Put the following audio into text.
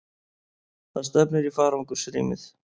Það stefnir í farangursrýmið.